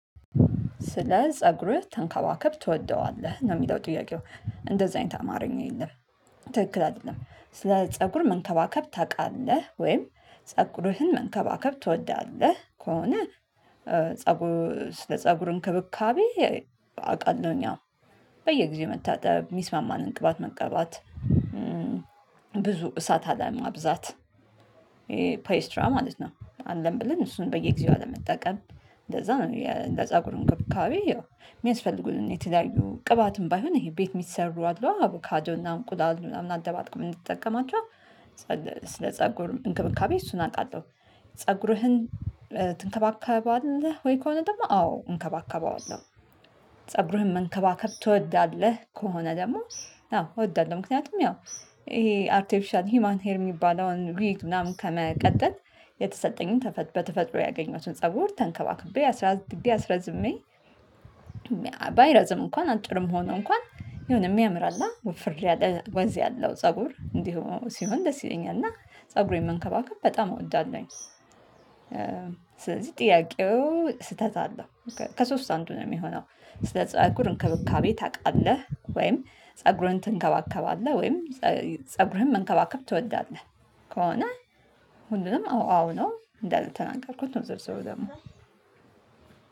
ስለ ፀጉርህ ተንከዋከብ ትወደዋለህ ነው? የሚለው ጥያቄው እንደዚህ አይነት አማርኛ የለም። ትክክል አይደለም ስለ ፀጉር መንከባከብ ታውቃለህ ወይም ፀጉርህን መንከባከብ ትወዳለህ? ከሆነ ፀጉር ስለ ፀጉር እንክብካቤ አውቃለሁኝ አው በየጊዜው መታጠብ የሚስማማን እንቅባት መቀባት ብዙ እሳት አለማብዛት ፔይስትራ ማለት ነው። አለን ብለን እሱን በየጊዜው አለመጠቀም እንደዛ ነው እንደ ፀጉር እንክብካቤ የሚያስፈልጉልን የተለዩ ቅባትም ባይሆን ይሄ ቤት የሚሰሩ አድሎ አቡካዶ እና እንቁላል ምናምን አደባልቆ እንድትጠቀማችሁ ስለ ፀጉር እንክብካቤ እሱን አውቃለሁ። ፀጉርህን ትንከባከባለህ? ወይ ከሆነ ደግሞ አዎ እንከባከባለሁ ፀብረህ መንከባከብ ትወዳለህ? ከሆነ ደግሞ አዎ እወዳለሁ ምክንያቱም ያው ይሄ አርቲፊሻል ሂዩማን ሄር ሚባለውን ዊግ ምናምን ከመቀጠል የተሰጠኝን በተፈጥሮ ያገኘሁትን ፀጉር ተንከባክቤ አስራድገ አስረዝሜ ባይረዝም እንኳን አጭርም ሆኖ እንኳን የሆነ የሚያምር አለ? ውፍር ያለ ወዝ ያለው ፀጉር እንዲሁ ሲሆን ደስ ይለኛል እና ፀጉሬን መንከባከብ በጣም እወዳለሁኝ። ስለዚህ ጥያቄው ስህተት አለው ከሶስት አንዱ ነው የሚሆነው። ስለ ፀጉር እንክብካቤ ታቃለህ ወይም ፀጉርህን ትንከባከባለህ ወይም ፀጉርህን መንከባከብ ትወዳለህ። ከሆነ ሁሉንም አዎ አዎ ነው? እንዳልተናገርኩት ነው ዝርዝሩ ደግሞ